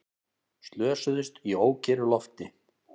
Slösuðust í ókyrru lofti